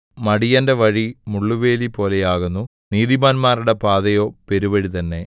മടിയന്റെ വഴി മുള്ളുവേലിപോലെയാകുന്നു നീതിമാന്മാരുടെ പാതയോ പെരുവഴി തന്നെ